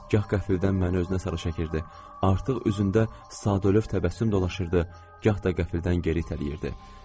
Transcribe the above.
Gah qəfildən məni özünə sarı çəkirdi, artıq üzündə Sadolöv təbəssümü dolaşırdı, gah da qəfildən geri itələyirdi.